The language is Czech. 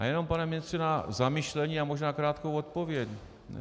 Já jenom, pane ministře, na zamyšlení a možná krátkou odpověď.